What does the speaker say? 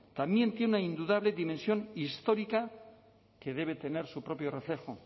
también tiene indudable dimensión histórica que debe tener su propio reflejo